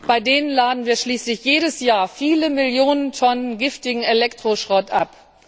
Bei denen laden wir schließlich jedes Jahr viele Millionen Tonnen giftigen Elektroschrott ab.